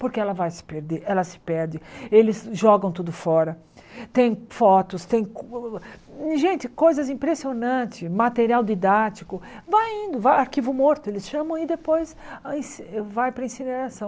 Porque ela vai se perder, ela se perde, eles jogam tudo fora, tem fotos, tem gente, coisas impressionantes, material didático, vai indo, vá arquivo morto, eles chamam e depois in vai para a incineração.